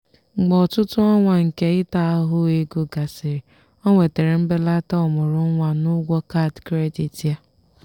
mgbe ọtụtụ ọnwa nke ịta ahụhụ ego gasịrị o nwetara mbelata ọmụrụnwa n'ụgwọ kaadị kredit ya.